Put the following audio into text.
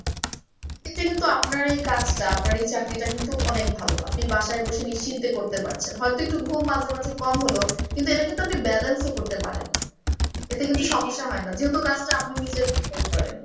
এতে কিন্তু আপনার এই কাজটা আপনার এই চাকরিটা কিন্তু অনেক ভালো আপনি বাসায় বসে নিশ্চিন্তে করতে পারছেন হয়তো একটু ঘুম মাঝে মাঝে কম হল কিন্তু এটা কিন্তু আপনি balance ও করতে পারেন এতে কিন্তু সমস্যা হয় না যেহেতু কাজটা আপনি নিজের ঘরে করেন।